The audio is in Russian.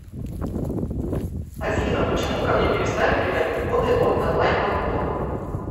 афина почему ко мне перестали приходить коды от онлайн покупок